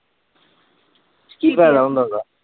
ਕੀ ਫਾਇਦਾ ਹੁੰਦਾ ਓਹਦਾ?